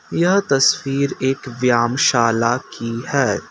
यह तस्वीर एक व्याम शाला की है।